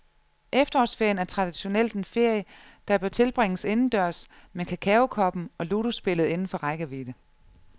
Efterårsferien er traditionelt en ferie, der bør tilbringes indendørs med kakaokoppen og ludospillet inden for rækkevidde.